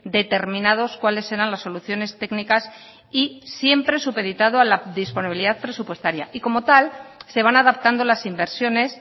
determinados cuáles eran las soluciones técnicas y siempre supeditado a la disponibilidad presupuestaria y como tal se van adaptando las inversiones